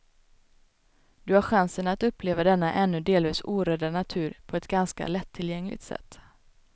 Du har chansen att uppleva denna ännu delvis orörda natur på ett ganska lättillgängligt sätt.